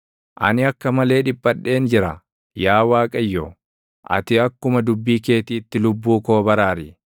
Ani akka malee dhiphadheen jira; yaa Waaqayyo, ati akkuma dubbii keetiitti lubbuu koo baraari.